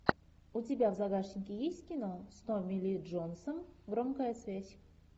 у тебя в загашнике есть кино с томми ли джонсом громкая связь